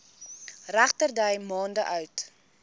regterdy maande oud